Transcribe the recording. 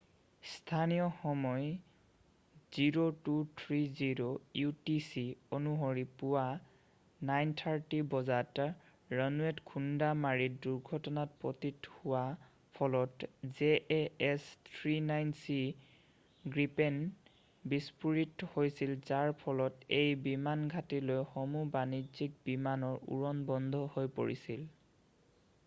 স্থানীয় সময় 0230 utc অনুসৰি পুৱা 9:30 বজাত ৰানৱেত খুন্দা মাৰি দুৰ্ঘটনাত পতিত হোৱাৰ ফলত jas 39c গ্ৰিপেন বিস্ফোৰিত হৈছিল যাৰ ফলত সেই বিমানঘাটিলৈ সমূহ বাণিজ্যিক বিমানৰ উৰণ বন্ধ হৈ পৰিছিল।